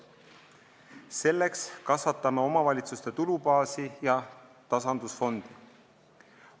Selleks kasvatame omavalitsuste tulubaasi ja tasandusfondi.